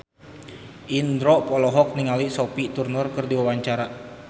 Indro olohok ningali Sophie Turner keur diwawancara